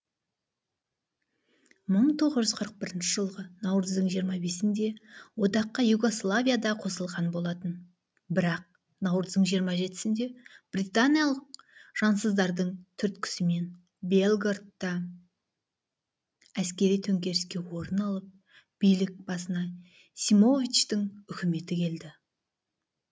мың тоғыз жүз қырық бірінші жылғы наурыздың жиырма бесінде одаққа югославия да қосылған болатын бірақ наурыздың жиырма жетісінде британиялық жансыздардың түрткісімен белградта әскери төңкеріске орын алып билік басына симовичтың үкіметі келді